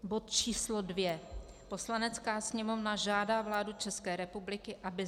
Bod číslo dvě: "Poslanecká sněmovna žádá vládu České republiky, aby: